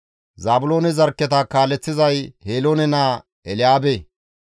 Zaabiloone zarkketa kaaleththizay Heloone naa Elyaabe.